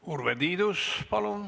Urve Tiidus, palun!